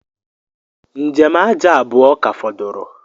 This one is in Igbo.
Njem aja abuọ ka fọdụrụ